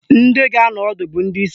Ndị ga-anọ ọdụ bụ ndị isi